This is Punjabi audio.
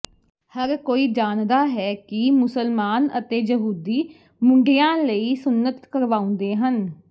ਹਰ ਕੋਈ ਜਾਣਦਾ ਹੈ ਕਿ ਮੁਸਲਮਾਨ ਅਤੇ ਯਹੂਦੀ ਮੁੰਡਿਆਂ ਲਈ ਸੁੰਨਤ ਕਰਵਾਉਂਦੇ ਹਨ